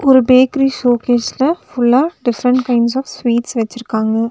ஒரு பேக்கிரி ஷோகேஸ்ல ஃபுல்லா டிஃபரண்ட் கைண்ட்ஸ் ஆப் ஸ்வீட்ஸ் வெச்சிருக்காங்க.